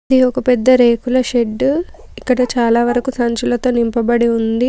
ఇది ఒక పెద్ద రేకుల షెడ్డు . ఇక్కడ చాలా వరకు సంచులతో నింపబడి ఉంది.